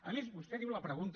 a més vostè diu la pregunta